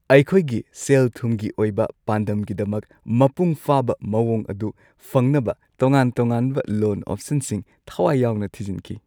ꯑꯩꯈꯣꯏꯒꯤ ꯁꯦꯜ-ꯊꯨꯝꯒꯤ ꯑꯣꯏꯕ ꯄꯥꯟꯗꯝꯒꯤꯗꯃꯛ ꯃꯄꯨꯡ ꯐꯥꯕ ꯃꯑꯣꯡ ꯑꯗꯨ ꯐꯪꯅꯕ ꯇꯣꯉꯥꯟ-ꯇꯣꯉꯥꯟꯕ ꯂꯣꯟ ꯑꯣꯞꯁꯟꯁꯤꯡ ꯊꯋꯥꯏ ꯌꯥꯎꯅ ꯊꯤꯖꯤꯟꯈꯤ꯫